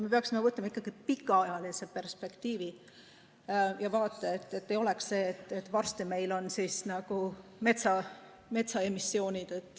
Me peaksime ikkagi vaatama pikaajalist perspektiivi ja jälgima, et ei juhtuks nii, et varsti meil on tegu metsast lähtuva emissiooniga.